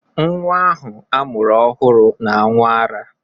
Nwa ahụ a mụrụ ọhụrụ na-aṅụ ará